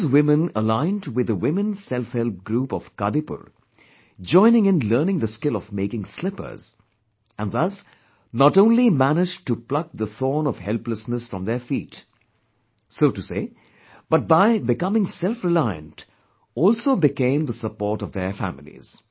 These women aligned withthe women selfhelp group of Kadipur, joined in learning the skill of making slippers, and thus not only managed to pluck the thorn of helplessness from their feet, but by becoming selfreliant, also became the support of their families